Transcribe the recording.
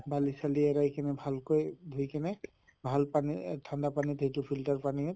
বালি চালি আৰু এইখিনি ভালকৈ ধুই কিনে ভাল পানী এহ ঠান্ডা পানীত যিটো filter পানী হয়